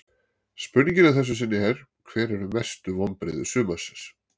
Spurningin að þessu sinni er: Hver eru mestu vonbrigði sumarsins?